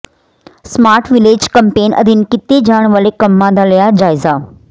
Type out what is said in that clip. smart village campaign ਅਧੀਨ ਕੀਤੇ ਜਾਣ ਵਾਲੇ ਕੰਮਾਂ ਦਾ ਲਿਆ ਜਾਇਜ਼ਾ